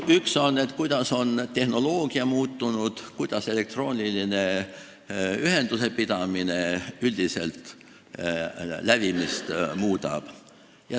Üks on see, kuidas on muutunud tehnoloogia, kuidas elektrooniline ühenduse pidamine üldiselt lävimist muudab.